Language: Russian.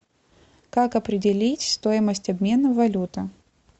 как определить стоимость обмена валюты